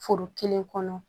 Foro kelen kɔnɔ